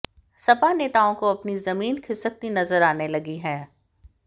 सपा नेताओं को अपनी जमीन खिसकती नजर आने लगी है